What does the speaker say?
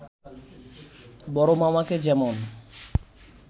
বড়মামাকে যেমন